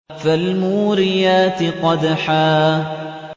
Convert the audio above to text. فَالْمُورِيَاتِ قَدْحًا